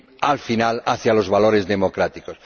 al final, hacia los valores democráticos.